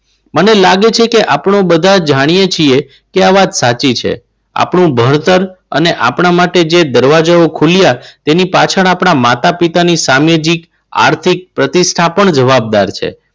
મને લાગે છે કે આપણું બધા જાણીએ છીએ કે આ વાત સાચી છે. આપણું ભણતર અને આપણા માટે જે દરવાજો ખુલ્યા. એની પાછળ આપણા માતા-પિતા ની સામાજિક આર્થિક પ્રતિષ્ઠા પણ જવાબદાર છે.